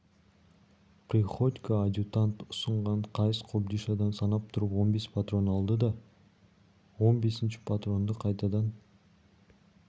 приходько адъютант ұсынған қайыс кобдишадан санап тұрып он бес патрон алды да он бесінші патронды қайтадан